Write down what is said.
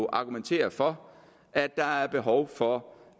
argumenterede for at der er behov for